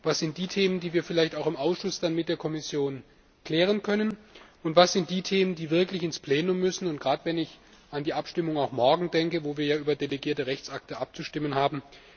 Was sind die Themen, die wir dann vielleicht auch im Ausschuss mit der Kommission klären können? Und was sind die Themen, die wirklich ins Plenum müssen? Gerade wenn ich an die Abstimmung morgen denke, wo wir ja über delegierte Rechtsakte abzustimmen haben.